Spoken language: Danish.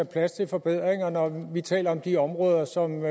plads til forbedringer når vi taler om de områder som